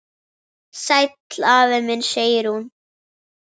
Sæll afi minn sagði hún.